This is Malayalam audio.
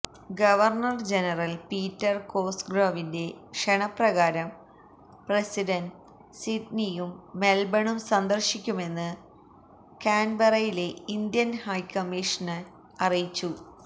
ഗവർണർ ജനറൽ പീറ്റർ കോസ്ഗ്രൊവിന്റെ ക്ഷണപ്രകാരം പ്രസിഡന്റ് സിഡ്നിയും മെൽബണും സന്ദർശിക്കുമെന്ന് കാൻബെറയിലെ ഇന്ത്യൻ ഹൈക്കമ്മിഷൻ അറിയിച്ചു